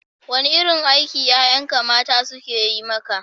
Wane irin aiki ƴaƴanka mata suke yi maka?